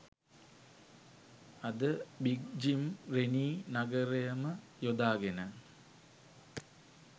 අද Big Jim Rennie නගරයම යොදාගෙන